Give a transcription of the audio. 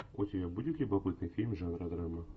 у тебя будет любопытный фильм жанра драмы